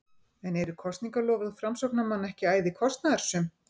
En eru kosningaloforð framsóknarmanna ekki æði kostnaðarsöm?